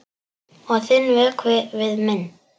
Og þinn vökvi við minn.